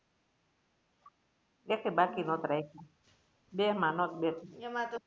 એકે બાકી નોતા રાયખા બેમા નોત બેઠી.